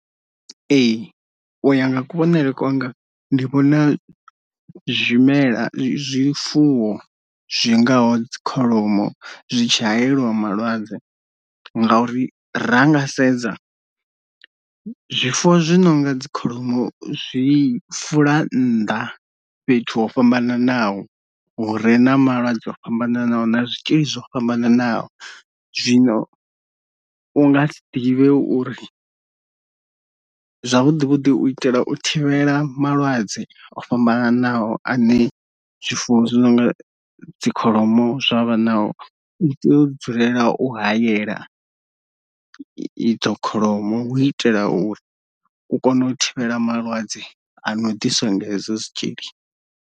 Ee u ya nga kuvhonele kwanga ndi vhona zwimela zwifuwo zwingaho dzikholomo zwi tshi hayeliwa malwadze, nga uri ra nga sedza zwifuwo zwi nonga dzikholomo zwi fula nnḓa fhethu ho fhambananaho hu re na malwadze o fhambananaho na zwitzhili zwo fhambananaho. Zwino u nga si ḓivhe uri zwavhuḓi vhuḓi u itela u thivhela malwadze o fhambananaho ane zwifuwo zwi no nga dzi kholomo zwavha nao u tea u dzulela u hayela idzo kholomo hu u itela uri u kone u thivhela malwadze a no ḓiswa nga hezwo zwitzhili.